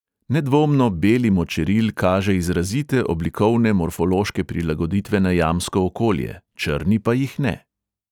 Nedvomno beli močeril kaže izrazite oblikovne morfološke prilagoditve na jamsko okolje, črni pa jih ne.